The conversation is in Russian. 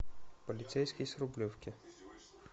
полицейский с рублевки